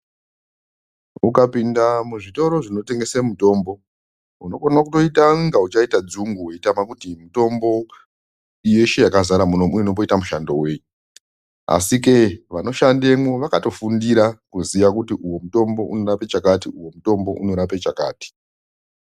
Ukapinda muzvitoro zvinotengese mutombo unokone kutoita kunge uchaite dzungu weitame kuti mitombo yeshe yakazara muno inomboita basa rei asikei vanoshandemo, vakatofundira kuziya kuti uyu mutombo unorape chakati, uyu unorape chakati.